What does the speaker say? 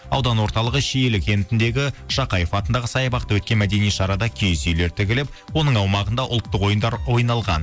аудан орталығы шиелі кентіндегі шахаев атындағы саябақта өткен мәдени шарада киіз үйлер тігіліп оның аумағында ұлттық ойындар ойналған